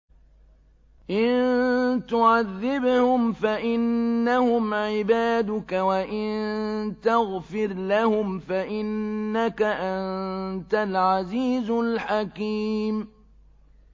إِن تُعَذِّبْهُمْ فَإِنَّهُمْ عِبَادُكَ ۖ وَإِن تَغْفِرْ لَهُمْ فَإِنَّكَ أَنتَ الْعَزِيزُ الْحَكِيمُ